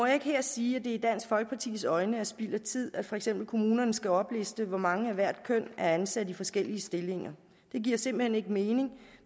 ikke her sige at det i dansk folkepartis øjne er spild af tid at for eksempel kommunerne skal opliste hvor mange af hvert køn er ansat i forskellige stillinger det giver simpelt hen ikke mening